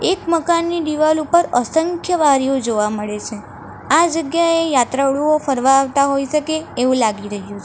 એક મકાનની દિવાલ ઉપર અસંખ્ય વારીઓ જોવા મળે છે આ જગ્યાએ યાત્રાળુઓ ફરવા આવતા હોઈ સકે એવું લાગી રહ્યું--